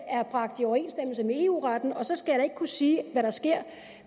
er bragt i overensstemmelse med eu retten og så skal jeg da ikke kunne sige hvad der sker